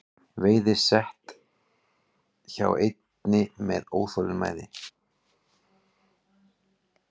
Veiði set hjá einni með óþolinmæði